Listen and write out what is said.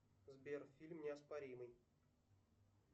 сбер фильм неоспоримый